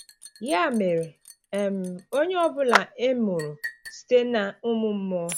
Ya mere, um onye ọbụla e mụrụ site n’ụmụ mmụọ.